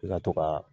I ka to ka